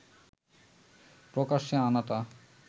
প্রকাশ্যে আনাটা